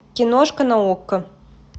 киношка на окко